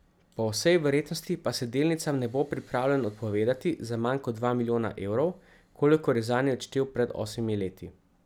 Po vsej verjetnosti pa se delnicam ne bo pripravljen odpovedati za manj kot dva milijona evrov, kolikor je zanje odštel pred osmimi leti.